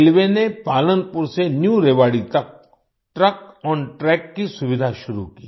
railway ने पालनपुर से New Rewari तक ट्रकोंट्रैक की सुविधा शुरू की